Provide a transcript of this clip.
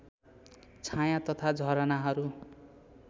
छायाँ तथा झरनाहरू